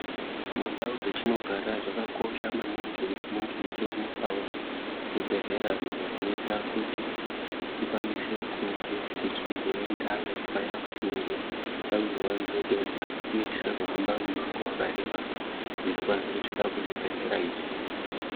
Mundau dzatinogara zvakakosha maningi kuti munge muchiwanikwawo zvibhedhlera izvo zvinoita kuti tikwanise kunge tichizoendayo paya patinenge tawirwa ngedenda uye tisazohambe mumango wakareba kuti tikwanise kusvika kuzvibhedhlera izvi.